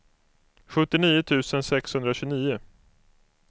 sjuttionio tusen sexhundratjugonio